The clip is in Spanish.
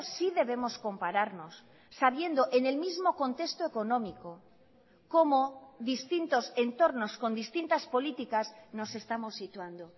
sí debemos compararnos sabiendo en el mismo contexto económico cómo distintos entornos con distintas políticas nos estamos situando